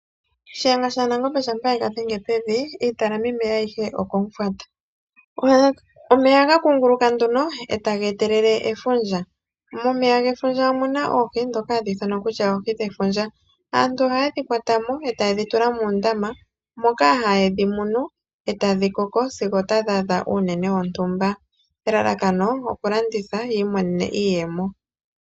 Shiyenga shanangombe shampa ye ga dhenge pevi iitalamimeya ayihe okomufwata. omeya ohaga kunguluka nduno etage etelele efundja. Momeya gefundja omuna oohi ndhoka hadhi ithanwa kutya oohi dhefundja aantu ohaye dhi kwata mo mo etaaye dhi tula moondama moka haye dhi munu etaadhi koko sigo etadhi adha uunene wontumba . Elalakano okulanditha yi imonene mo iiyemo.